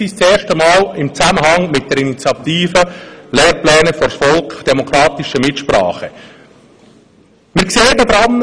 wir taten dies erst im Zusammenhang mit der Initiative «Für demokratische Mitsprache – Lehrpläne vors Volk!»